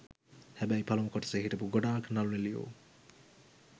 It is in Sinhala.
හැ‍බැ‍යි‍ ප‍ළ‍මු‍ කො‍ට‍සේ‍ හි‍ට‍පූ‍ ගො‍ඩා‍ක්‍ න‍ළු‍නි‍ළි‍යෝ